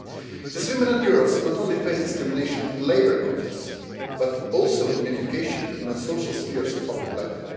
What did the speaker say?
These women and girls not only face discrimination in the labour context, but also in education, in the social spheres of public life.